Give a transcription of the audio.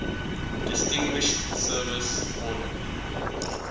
distinguished service order